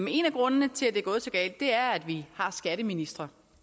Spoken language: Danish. en af grundene til at det er gået så galt er at vi har skatteministre